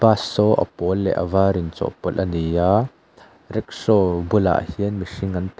bus saw a pawl leh a var inchawhpawlh a ni a rickshaw bulah hian mihring an tam--